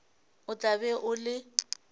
o tla be o le